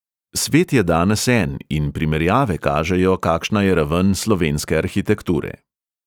Svet je danes en in primerjave kažejo, kakšna je raven slovenske arhitekture.